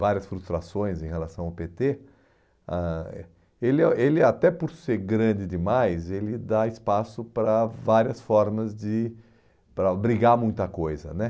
várias frustrações em relação ao pê tê, ãh ele ah ele até por ser grande demais, ele dá espaço para várias formas de... para obrigar muita coisa, né?